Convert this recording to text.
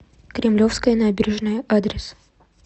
кремлевская набережная адрес